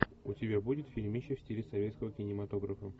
у тебя будет фильмище в стиле советского кинематографа